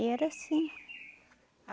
E era assim.